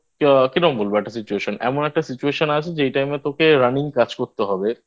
কি রকম বলবো একটা Situation এমন একটা Situation আছে যেই Time এ তোকে Running কাজ করতে হবে